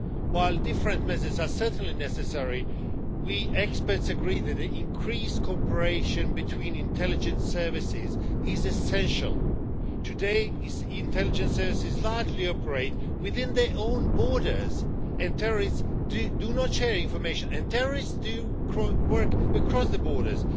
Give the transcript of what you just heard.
While different measures are certainly necessary, experts agree that increased cooperation between intelligence services is essential. Today, the intelligence services largely operate within their own borders, but terrorists do not share information and terrorists work across the borders.